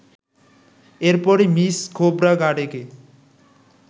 এরপরই মিস খোবড়াগাডেকে